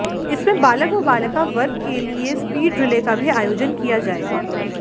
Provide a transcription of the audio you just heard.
इसमें बालक व बालिका वर्ग के लिए स्पीड रिले का भी आयोजन किया जाएगा